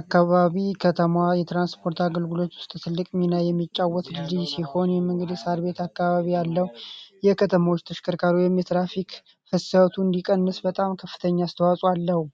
አካባቢ ከተማ የትራንስፖርት አገልግሎት ውስጥ ትልቅ ሚና የሚጫወቱ ሲሆን የመንግስት አካባቢ ያለው የከተሞች ተሽከርካቱ እንዲቀንስ በጣም ከፍተኛ አስተዋጽኦ አለው።